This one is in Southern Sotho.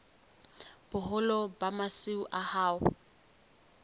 boholo ba masimo a hao